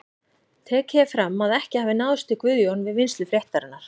Tekið er fram að ekki hafi náðst í Guðjón við vinnslu fréttarinnar.